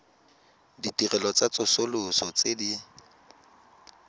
ditirelo tsa tsosoloso tse di